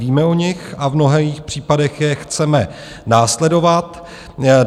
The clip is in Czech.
Víme o nich a v mnoha případech je chceme následovat.